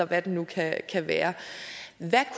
hvad det nu kan være hvad